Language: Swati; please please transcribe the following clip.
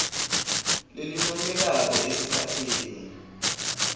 lelincomekako esikhatsini